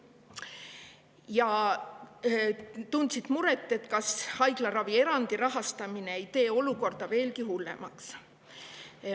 Ja tunti muret selle pärast, kas rahastamine ei tee olukorda veelgi hullemaks.